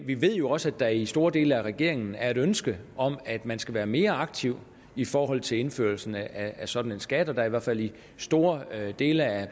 vi ved jo også at der i store dele af regeringen er et ønske om at man skal være mere aktiv i forhold til indførelsen af af sådan en skat og at der i hvert fald i store dele af